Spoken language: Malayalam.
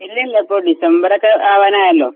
ഇല്ലില്ല ഇപ്പോ ഡിസംബറൊക്കെ ആവാനായല്ലോ